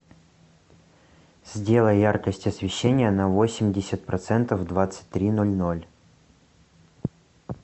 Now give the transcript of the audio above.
сделай яркость освещения на восемьдесят процентов в двадцать три ноль ноль